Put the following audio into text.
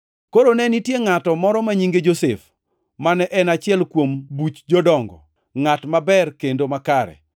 Koro ne nitie ngʼato ma nyinge Josef, mane en achiel kuom Buch Jodongo, ngʼat maber kendo makare,